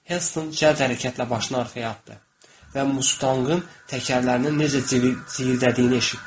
Heltton cəld hərəkətlə başını arxaya atdı və Mustangın təkərlərinin necə zırıldadığını eşitdi.